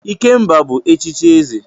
Ikemba bu echichi eze.